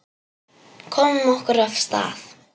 Komum okkur af stað.